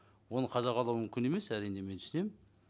оны қадағалау мүмкін емес әрине мен түсінемін